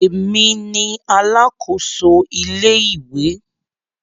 Èmi ni alákòso ilé ìwé.